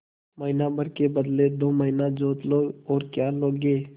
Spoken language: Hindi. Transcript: महीना भर के बदले दो महीना जोत लो और क्या लोगे